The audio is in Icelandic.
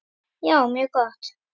Já, mjög gott.